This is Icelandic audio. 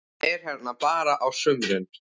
Hann er hérna bara á sumrin.